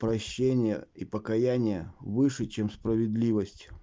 прощение и покаяние выше чем справедливость